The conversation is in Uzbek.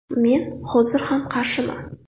Men hozir ham qarshiman.